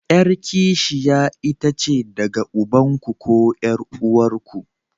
Yar kishiya itace daga ubanku ko 'yar'uwarku.